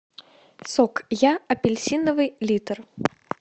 сок я апельсиновый литр